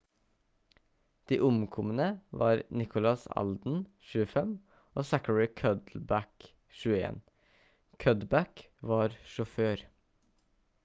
de omkomne var nicholas alden 25 og zachary cuddeback 21. cuddeback var sjåfør